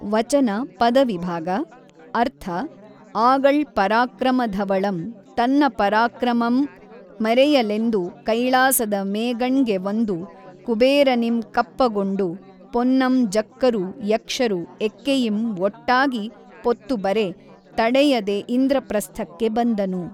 ವಚನ ಪದವಿಭಾಗ ಅರ್ಥ ಆಗಳ್ ಪರಾಕ್ರಮ ಧವಳಂ ತನ್ನ ಪರಾಕ್ರಮಮಂ ಮೆರೆಯಲೆಂದು ಕೈಳಾಸದ ಮೇಗಣ್ಗೆ ವಂದು ಕುಬೇರನಿಂ ಕಪ್ಪಗೊಂಡು ಪೊನ್ನಂ ಜಕ್ಕರು ಯಕ್ಷರು ಎಕ್ಕೆಯಿಂ ಒಟ್ಟಾಗಿ ಪೊತ್ತುಬರೆ ತಡೆಯದೆ ಇಂದ್ರಪ್ರಸ್ಥಕ್ಕೆ ಬಂದನು.